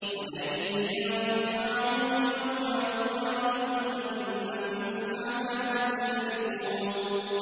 وَلَن يَنفَعَكُمُ الْيَوْمَ إِذ ظَّلَمْتُمْ أَنَّكُمْ فِي الْعَذَابِ مُشْتَرِكُونَ